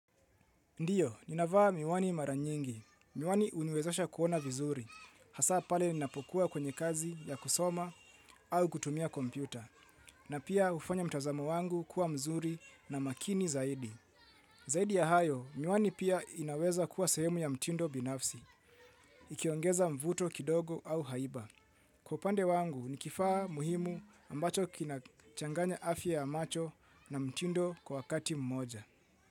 Ndiyo, ninavaa miwani mara nyingi, miwani huniwezasha kuona vizuri, hasa pale ninapokuwa kwenye kazi ya kusoma au kutumia kompyuta, na pia hufanya mtazamo wangu kuwa mzuri na makini zaidi. Zaidi ya hayo, miwani pia inaweza kuwa sehemu ya mtindo binafsi, ikiongeza mvuto kidogo au haiba. Kwa upande wangu, ni kifaa muhimu ambacho kina changanya afya ya macho na mtindo kwa wakati mmoja.